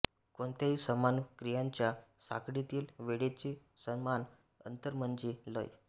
कोणत्याही समान क्रियांच्या साखळीतील वेळेचे समान अंतर म्हणजे लय